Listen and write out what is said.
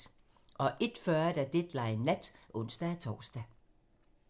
01:40: Deadline nat (ons-tor)